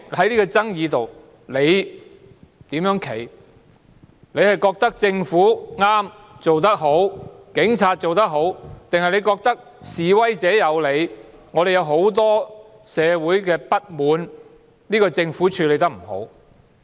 你覺得政府和警方正確、做得好，還是你覺得示威者有理，社會有很多不滿源於政府處理得不好？